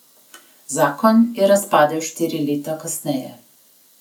Zakon je razpadel štiri leta kasneje.